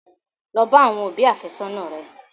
Lọ bá àwọn òbí àfẹ́sọ́nà rẹ!